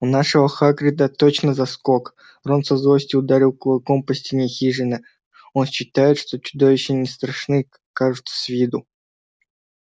у нашего хагрида точно заскок рон со злости ударил кулаком по стене хижины он считает что чудовища не страшны кажутся с виду